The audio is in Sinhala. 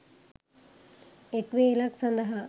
එක් වේලක් සඳහා